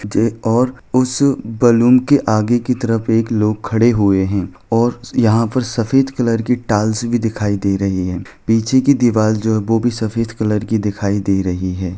जे और उस बलून की आगे की तरफ एक लोग खड़े हुए हैं और यहाँ पर सफ़ेद कलर की टाइल्स भी दिखाई दे रही हैं पीछे की दीवार जो हैं वो भी सफ़ेद कलर की दिखाई दे रही हैं।